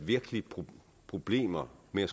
virkelig problemer med